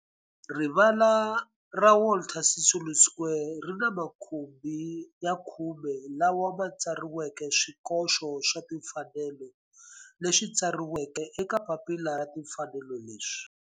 Rivala ra Walter Sisulu Square ri ni makhumbi ya khume lawa ma tsariweke swikoxo swa timfanelo leswi tsariweke eka papila ra timfanelo leswi.